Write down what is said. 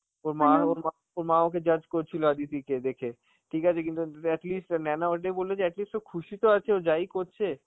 ওর মার ও মা~ ওর মা ওকে judge করছিল, অদিতিকে দেখে, ঠিক আছে কিন্তু ন্তু~ at least আঁ নেয়না ওইটাই বললে যে at least ও খুশিতো আছে ও যাই করছে,